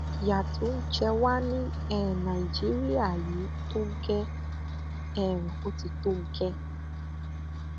ìyà tó ń jẹ wà ní um nàìjíríà yìí tó gẹẹ um ó ti tó gẹẹ